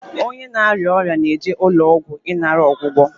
Onye na-arịa ọrịa na-eje n'ụlọ ọgwụ ịnara ọgwụgwọ.